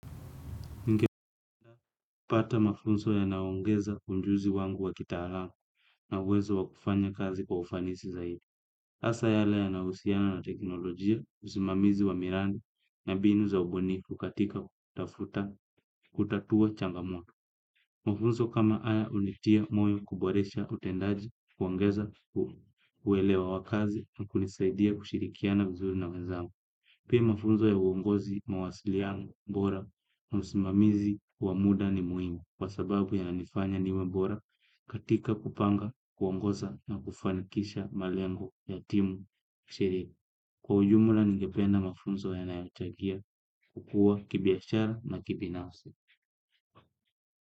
Nkipata mafunzo yanaongeza unjuzi wangu wa kitara na uwezo wa kufanya kazi kwa ufanisi zaidi. Asa yale ya nausiana na teknolojia, usimamizi wa mirandi na binu za ubunifu katika kutafuta kutatua changamoto. Mafunzo kama aya unitia moyo kuboresha utendaji kuongeza uwelewa wakazi na kunisaidia kushirikiana vizuri na wezangu. Pia mafunzo ya uongozi mawasiliano mbora na usimamizi wa muda ni muhimi. Kwa sababu yananifanya niwe bora katika kupanga, kuongoza na kufanikisha malengo ya timu kshiri. Kwa ujumla ningependa mafunzo ya naayochagia kukua kibiashara na kibinafsi.